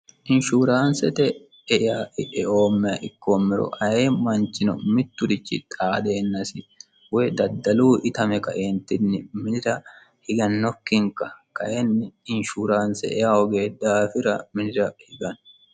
inshuuraansete e'oommeha ikkoommero aye manchino mitturichi xaadeennasi woy daddaluu itame kaeentinni minira higannokkinka kaenni inshuuraanse hogee dhaafira minira higanni